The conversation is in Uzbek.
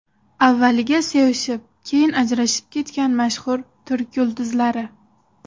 Avvaliga sevishib keyin ajrashib ketgan mashhur turk yulduzlari.